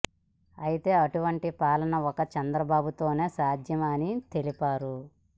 అయితే అటువంటి పాలన ఒక్క చంద్రబాబు తోనే సాధ్యం అని తెలిపారు